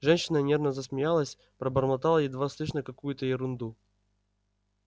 женщина нервно засмеялась пробормотала едва слышно какую-то ерунду